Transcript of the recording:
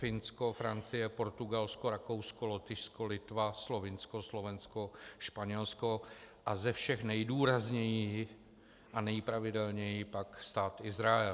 Finsko, Francie, Portugalsko, Rakousko, Lotyšsko, Litva, Slovinsko, Slovensko, Španělsko a ze všech nejdůrazněji a nejpravidelněji pak Stát Izrael.